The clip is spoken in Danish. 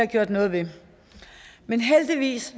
gjort noget ved men heldigvis